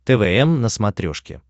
твм на смотрешке